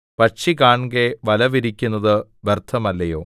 പക്ഷി കാൺകെ വലവിരിക്കുന്നത് വ്യർത്ഥമല്ലയോ